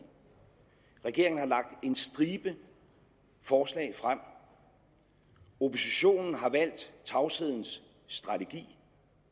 regeringen har lagt en stribe forslag frem oppositionen har valgt tavshedens strategi